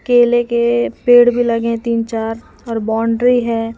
केले के पेड़ भी लगे तीन चार और बाउंड्री है।